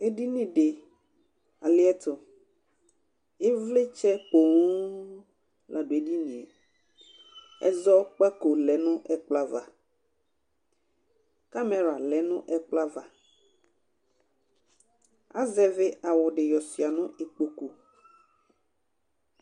edini di aliɛto ivlitsɛ ponŋ la do edinie ɛzɔkpako lɛ no ɛkplɔ ava kamɛra lɛ no ɛkplɔ ava azɛvi awu di yɔsua no ikpoku